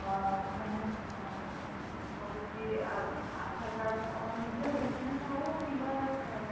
ଅଁ ମାନେ ରହୁଛି Aadhaar card ଆପଣ ନିଜର business ହଉ କିମ୍ବା